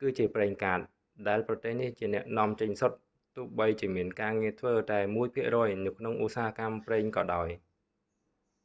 គឺជាប្រេងកាត ដែលប្រទេសនេះជាអ្នកនាំចេញសុទ្ធ ទោះបីជាមានការងារធ្វើតែមួយភាគរយនៅក្នុងឧស្សាហកម្មប្រេងក៏ដោយ